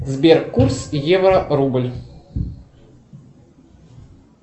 сбер курс евро рубль